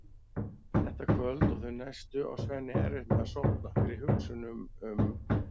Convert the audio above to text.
Þetta kvöld og þau næstu á Svenni erfitt með að sofna fyrir hugsunum um